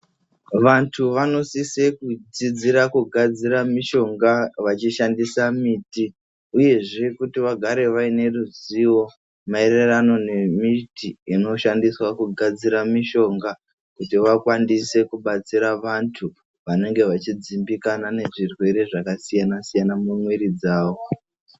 Vantu vanosise kudzidzira kugadzira mishonga vachishandisa miti, uyezve kuti vagare vayine ruzivo mayererano nemiti inoshandiswa kugadzira mishonga, kuti vakwanise kubatsira vantu vanenge vachidzimbikana nezvirwere zvakasiyana-siyana mumwiri dzavo.